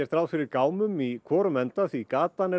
ráð fyrir gámum í hvorum enda því